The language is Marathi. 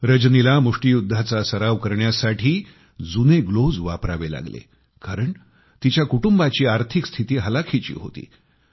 रजनीला मुष्टीयुद्धाचा सराव करण्यासाठी जुने ग्लोव्हस वापरावे लागले कारण तिच्या कुटुंबाची आर्थिक स्थिती हलाखीची होती